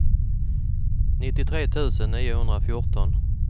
nittiotre tusen niohundrafjorton